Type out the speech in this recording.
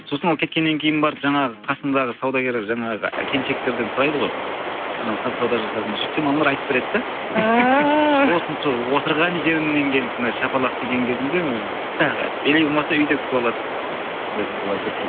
сосын ол кеткеннен кейін барып жаңағы қасындағы саудагер жаңағы келіншектерден сұрайды ғой анау сауда жасады ма сөйтсем аналар айтып береді де ааа сосын сол отырған жеріңнен келіп мына шапалақ тиген кезіңде ыыы тағы или болмаса үйде күтіп алады